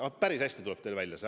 Aga päris hästi tuleb teil see välja.